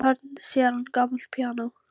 Úti í horni sér hann gamalt píanó.